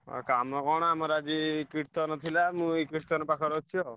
ଆଉ କାମ କଣ ଆମର ଆଜି କୀର୍ତ୍ତନ ଥିଲା ମୁଁ ଏଇ କୀର୍ତ୍ତନ ପାଖରେ ଅଛି ଆଉ।